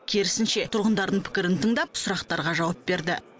керісінше тұрғындардың пікірін тыңдап сұрақтарға жауап берді